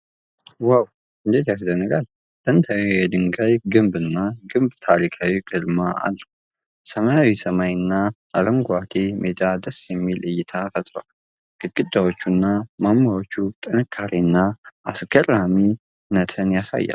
ዋው እንዴት ያስደንቃል! ጥንታዊው የድንጋይ ግንብና ግንብ ታሪካዊ ግርማ አለው። ሰማያዊው ሰማይ እና አረንጓዴው ሜዳ ደስ የሚል እይታ ፈጥረዋል። ግድግዳዎቹና ማማዎቹ ጥንካሬ እና አስገራሚነት ያሳያሉ።